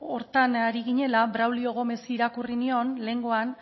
horretan ari ginela braulio gómezi irakurri nion lehengoan